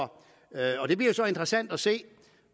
interessant at se